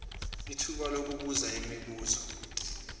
ithuba lokubuza imibuzo